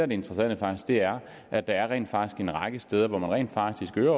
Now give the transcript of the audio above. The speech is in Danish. det interessante er at der er en række steder hvor man rent faktisk øger